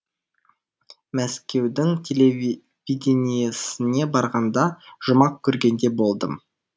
мәскеудің телевидениесіне барғанда жұмақ көргендей болдым